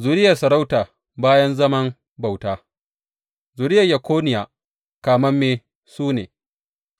Zuriyar sarauta bayan zaman bauta Zuriyar Yekoniya kamamme su ne,